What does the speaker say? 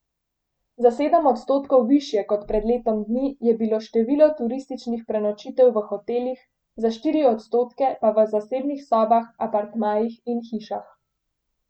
Za sedem odstotkov višje kot pred letom dni je bilo število turističnih prenočitev v hotelih, za štiri odstotke pa v zasebnih sobah, apartmajih in hišah.